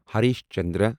Harish Chandra